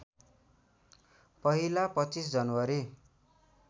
पहिला २५ जनवरी